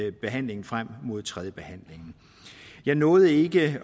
i behandlingen frem mod tredje behandling jeg nåede ikke